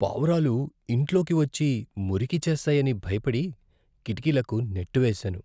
పావురాలు ఇంట్లోకి వచ్చి మురికి చేస్తాయని భయపడి, కిటికీలకు నెట్ వేసాను.